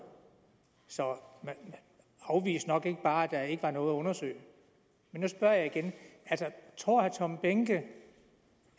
så man afviste nok ikke bare at var noget at undersøge men nu spørger jeg igen tror herre tom behnke